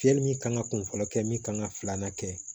Fiyɛli min kan ka kun fɔlɔ kɛ min kan ka filanan kɛ